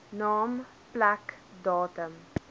naam plek datum